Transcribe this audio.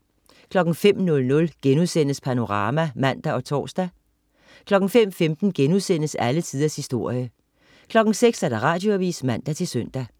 05.00 Panorama* (man og tors) 05.15 Alle tiders historie* 06.00 Radioavis (man-søn)